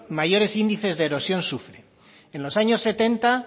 mayores índices de erosión sufre en los años setenta